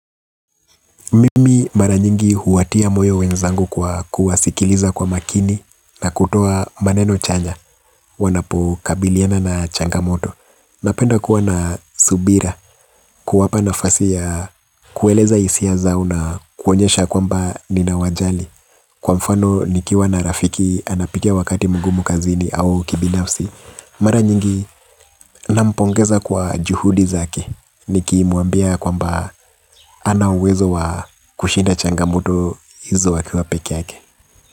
Mimi mara nyingi huwatia moyo wenzangu kwa kuwasikiliza kwa makini na kutoa maneno chanya. Wanapo kabiliana na changamoto napenda kuwa na subira kuwapa nafasi ya kueleza hisia zao na kuonyesha kwamba ninawajali. Kwa mfano nikiwa na rafiki anapitia wakati mgumu kazini au kibinafsi. Mara nyingi nampongeza kwa juhudi zake nikimwambia kwamba hana uwezo wa kushinda changamoto izo akiwa peke yake.